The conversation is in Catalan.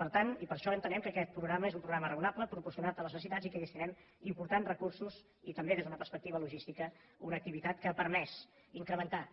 per tant i per això entenem que aquest programa és un programa raonable proporcionat a les necessitats i que hi destinem importants recursos i també des d’una perspectiva logística una activitat que ha permès incrementar